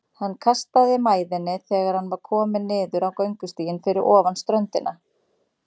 Hann kastaði mæðinni þegar hann var kominn niður á göngustíginn fyrir ofan ströndina.